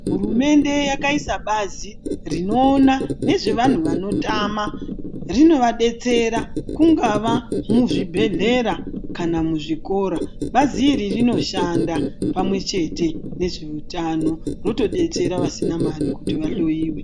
Hurumende yakaisa bazi rinoona nezvevantu vanotama rinovabetsera kungava muzvibhedhera kana muzvikora. Bazi iri rinoshanda pamwe chete nezveutano rinotobetsera vasina mari kuti vahoiwe.